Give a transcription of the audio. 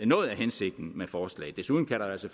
noget af hensigten med forslaget desuden kan der altså